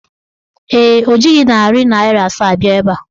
Ee, o jighị narị naịra asaa bịa ebe a.